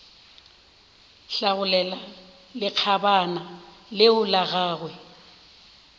hlagolela lekgabana leo la gagwe